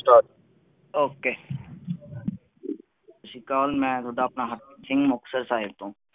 ਸਤਿ ਸ਼੍ਰੀ ਅਕਾਲ ਮਈ ਤੁਹਾਡਾ ਆਪਣਾ ਹਰਪ੍ਰੀਤ ਸਿੰਘ ਮੁਕਤਸਰ ਤੋਂ